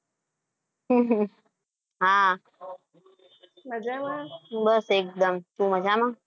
બસ એકદમ. તું મજામાં?